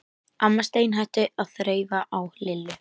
Amma steinhætti að þreifa á Lillu.